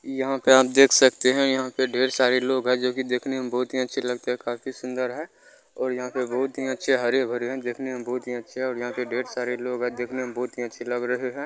यहाँ पे आप देख सकते है यहाँ पे ढेर सारे लोग है जो की देखने में बहुत ही अच्छे लगते है काफी सुन्दर है और यहाँ पर बहुत ही अच्छे हरे-भरे देखने में बहुत ही अच्छे है यहाँ पे ढेर सारे लोग है देखने में बहुत ही अच्छे लग रहे है।